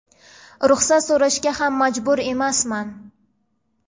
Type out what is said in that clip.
ruxsat so‘rashga ham majbur emasman.